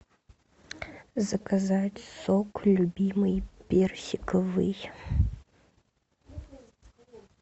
заказать сок любимый персиковый